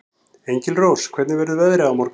Engilrós, hvernig verður veðrið á morgun?